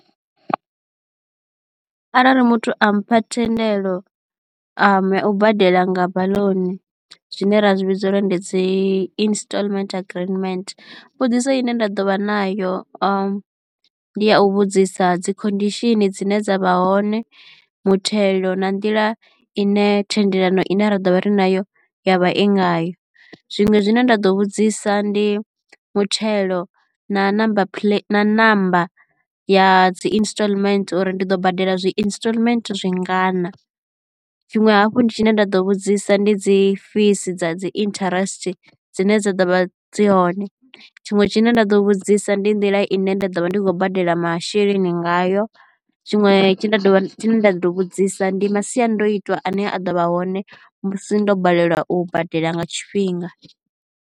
Arali muthu a mpha thendelo a yau badela nga baḽuni zwine ra zwi vhidza uri ndi dzi instalment agreement, mbudziso ine nda ḓo vha nayo ndi ya u vhudzisa dzi conditions dzine dza vha hone, muthelo na nḓila i ne thendelano ine ra ḓovha ri nayo yavha i ngayo, Zwiṅwe zwine nda ḓo vhudzisa ndi muthelo na number number ya dzi instalment uri ndi ḓo badela zwi instalment zwi ngana. Tshiṅwe hafhu ndi tshine nda ḓo vhudzisa ndi dzi fees dza dzi interest dzine dza ḓo vha dzi hone, Tshiṅwe tshine nda ḓo vhudzisa ndi nḓila ine nda ḓo vha ndi khou badela masheleni ngayo. Tshiṅwe tshine nda ḓo vhudzisa ndi masiandoitwa ane a ḓo vha hone musi ndo balelwa u badela nga tshifhinga.